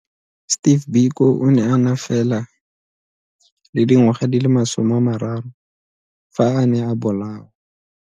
Steve Biko o ne a na fela le dingwaga di le 30 fa a ne a bolawa.